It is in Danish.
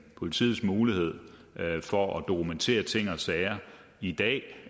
politiets mulighed for at dokumentere ting og sager i dag